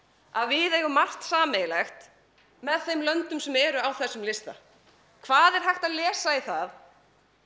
að við eigum margt sameiginlegt með þeim löndum sem eru á þessum lista hvað er hægt að lesa í það